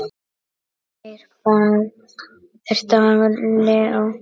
Þeirra barn er Dagur Leó.